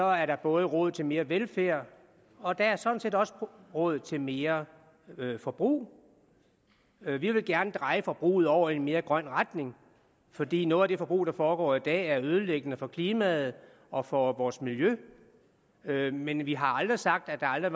er der både råd til mere velfærd og der er sådan set også råd til mere forbrug vi vil gerne dreje forbruget over i en mere grøn retning fordi noget af det forbrug der foregår i dag er ødelæggende for klimaet og for vores miljø men vi har aldrig sagt at der aldrig